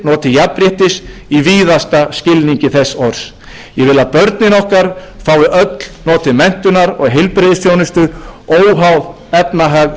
ég vil að í þannig þjóðfélagi fái allir notið jafnréttis í víðasta skilningi þess orðs ég vil að börnin okkar fái öll notið menntunar og heilbrigðisþjónustu óháð efnahag